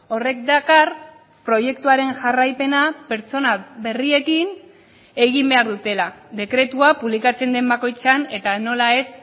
horrek dakar proiektuaren jarraipena pertsona berriekin egin behar dutela dekretua publikatzen den bakoitzean eta nola ez